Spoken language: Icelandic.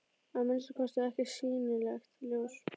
Að minnsta kosti ekkert sýnilegt ljós.